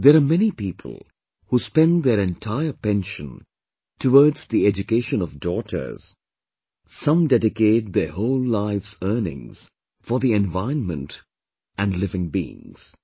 There are many people who spend their entire pension towards the education of daughters...some dedicate their whole life's earnings for the environment and the living beings